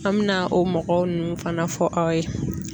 An mɛna o mɔgɔ ninnu fana fɔ aw ye.